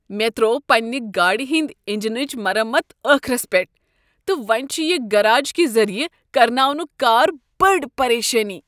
مےٚ ترٛوو پننہ گاڑ ہنٛدۍ انجنٕچ مرمت ٲخرس پیٹھ، تہٕ وۄنۍ چھ یہ گٔراج کہ ذریعہٕ کرناونک کار بٔڈ پریشٲنی۔